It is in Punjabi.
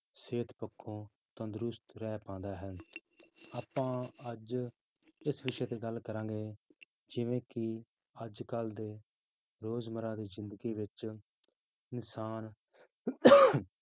ਸਿਹਤ ਪੱਖੋਂ ਤੰਦਰੁਸਤ ਰਹਿ ਪਾਉਂਦਾ ਹੈ ਆਪਾਂ ਅੱਜ ਇਸ ਵਿਸ਼ੇ ਤੇ ਗੱਲ ਕਰਾਂਗੇ, ਜਿਵੇਂ ਕਿ ਅੱਜ ਕੱਲ੍ਹ ਦੇ ਰੋਜ਼ਮਰਾ ਦੀ ਜ਼ਿੰਦਗੀ ਵਿੱਚ ਇਨਸਾਨ